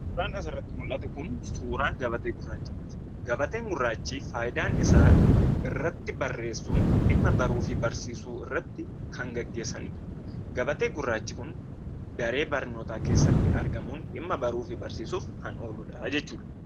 Suuraan asirratti mul'atu kun suuraa gabatee gurraachaati. Gabatee gurraachi fayidaan isaa irratti barreessuun dhimma baruufi barsiisuu irratti kan gaggeessanidha. Gabatee gurraachi kun daree barnootaa keessatti argamuun dhimma baruufi barsiisuudhaaf kan oloudha jechuudha.